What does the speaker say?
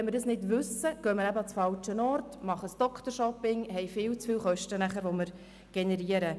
Wenn wir dies nicht wissen, gehen wir an den falschen Ort und verursachen viel zu viele Kosten.